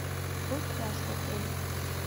какой пляж в отеле